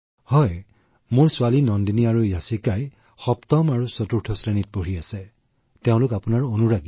হয় মোৰ ছোৱালী দুজনী হৈছে নন্দিনী আৰু য়াচিকা এজনীয়ে ৭ম শ্ৰেণীত পঢ়ি আছে আনজনীয়ে ৪ৰ্থ শ্ৰেণীত পঢ়ি আছে আৰু দুয়োজনী আপোনাৰ ডাঙৰ অনুৰাগী